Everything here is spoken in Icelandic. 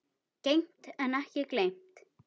Geymt en ekki gleymt